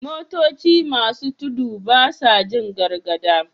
Motoci masu tudu basa Jin gargada